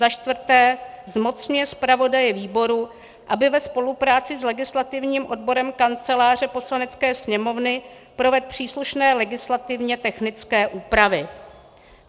Za čtvrté zmocňuje zpravodaje výboru, aby ve spolupráci s legislativním odborem Kanceláře Poslanecké sněmovny provedl příslušné legislativně technické úpravy.